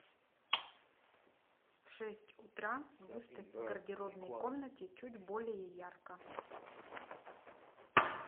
в шесть утра выставь в гардеробной комнате чуть более ярко